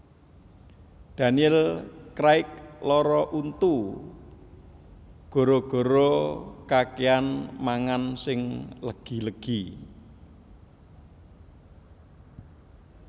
Daniel Craig lara untu gara gara kakean mangan sing legi legi